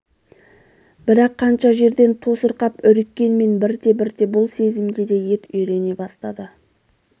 бірақ қанша жерден тосырқап үріккенмен бірте-бірте бұл сезімге де ет үйрене бастады